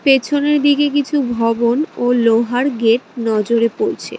পেছনের দিকে কিছু ভবন ও লোহার গেট নজরে পড়ছে।